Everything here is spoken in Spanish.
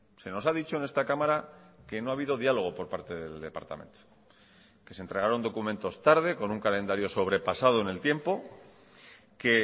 se nos ha dicho en esta cámara que no ha habido diálogo por parte del departamento que se entregaron documentos tarde con un calendario sobrepasado en el tiempo que